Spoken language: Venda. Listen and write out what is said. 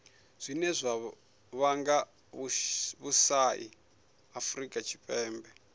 zwine zwa vhanga vhusai afurika tshipembe